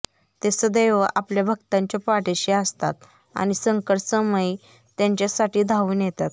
ते सदैव आपल्या भक्तांच्या पाठीशी असतात आणि संकटसमयी त्यांच्या साठी धावून येतात